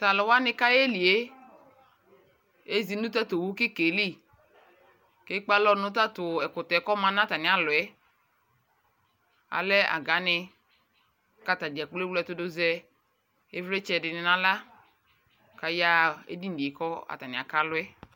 Taluwani kayɛlie eƶi nu tatowu kikɛli ekpe alɔ nu tatɛkutɛ kikaealɛ agaani kataɖʒakplo ewlɛtudu kaƶɛ ivlitsɛ naɣlakaya edi nie kekpealɔɛ